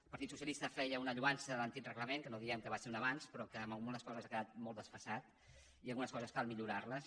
el partit socialista feia una lloança de l’antic reglament que no diem que no fos un avanç però que en algunes coses ha quedat molt desfasat i algunes coses cal millorarles